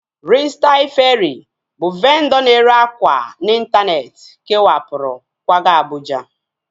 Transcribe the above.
Ristail Feerị bụ vendọ na-ere akwa n'intaneeti kewapụrụ kwaga Abụja